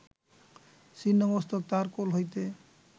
ছিন্ন মস্তক তাঁহার কোল হইতে